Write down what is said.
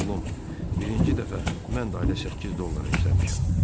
Oğlum, birinci dəfə mən də ayda 8 dollara işləmişəm.